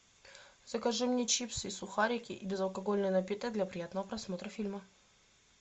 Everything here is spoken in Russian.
закажи мне чипсы и сухарики и безалкогольный напиток для приятного просмотра фильма